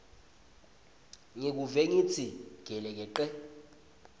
ngivuke ngitsi gelekece